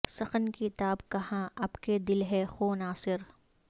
سخن کی تاب کہاں اب کہ دل ہے خوں ناصر